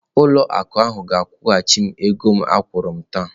Ụlọ akụ ahụ ga-akwụghachi m ego akwụrụ m taa.